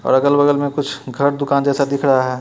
और अगल बगल में कुछ घर दुकान जैसा दिख रहा है।